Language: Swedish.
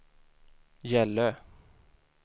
Gällö